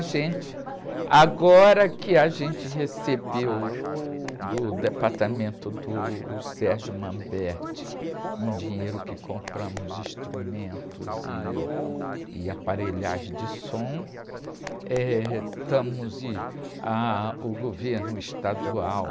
Agora que a gente recebeu do departamento do, uh um dinheiro que compramos instrumentos e, e aparelhagem de som, eh estamos e ah, uh, o governo estadual